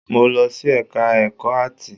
Mo lọ sí ẹka ẹ̀kọ́ áàtì.